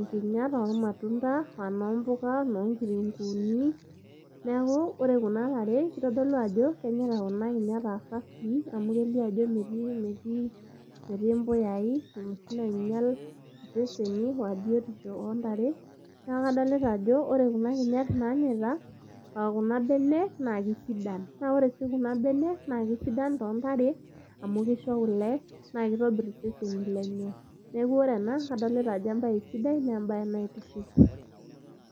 nkinyat ormatunda aa inoompuka, inoonkitunguuni neeku ore kuna tare kitodolu ajo kenyaita kuna kinyat aa safii amu kitodolu ajo metii impuyaai inoshi nainyial aa biotisho oontare neeku kadolita ajo ore kuna kinyat naanyaita aa kuna benek naa kesidan naa ore sii kuna benek naa kesidan toontare